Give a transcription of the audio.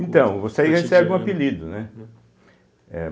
Então, você aí recebe um apelido, né? eh